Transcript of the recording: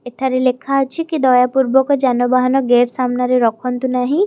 ଏଠାରେ ଲେଖା ଅଛି କି ଦୟାପୂର୍ବକ ଯାନ ବାହାନ ଗେଟ୍ ସାମ୍ନାରେ ରଖନ୍ତୁ ନାହିଁ।